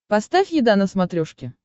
поставь еда на смотрешке